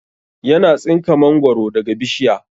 Yana tsinka mangoro daga bishiya